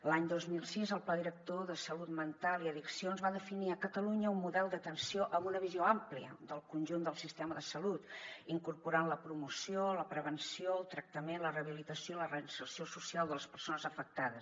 l’any dos mil sis el pla director de salut mental i addiccions va definir a catalunya un model d’atenció amb una visió àmplia del conjunt del sistema de salut incorporant la promoció la prevenció el tractament la rehabilitació i la reinserció social de les persones afectades